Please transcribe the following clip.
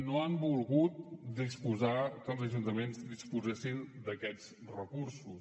no han volgut que els ajuntaments disposessin d’aquests recursos